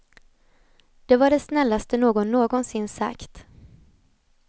Det var det snällaste någon någonsin sagt.